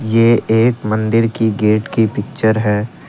ये एक मंदिर की गेट की पिक्चर है।